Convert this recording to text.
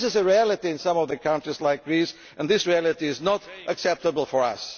This is the reality in some of the countries like Greece and this reality is not acceptable for